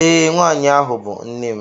Ee, nwaanyị ahụ bụ nne m